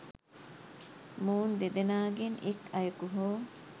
මොවුන් දෙදෙනාගෙන් එක් අයෙකු හෝ